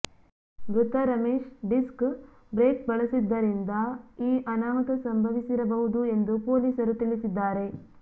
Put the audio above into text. ಮೃತ Ramesh disc brake ಬಳಿಸಿದ್ದರಿಂದ ಈ ಅನಾಹುತ ಸಂಭವಿಸಿರಬಹುದು ಎಂದು ಪೊಲೀಸರು ತಿಳಿಸಿದ್ದಾರೆ